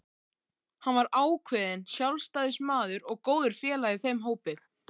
Hann var ákveðinn sjálfstæðismaður og góður félagi í þeim hópi.